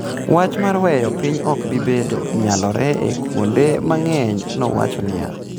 ""Wach mar weyo piny ok bi bedo nyalore e kuonde mang'eny," nowacho niya.